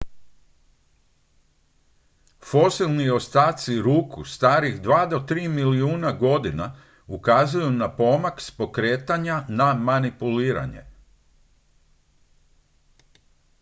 fosilni ostaci ruku starih dva do tri milijuna godina ukazuju na pomak s pokretanja na manipuliranje